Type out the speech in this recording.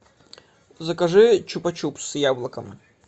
закажи чупа чупс с яблоком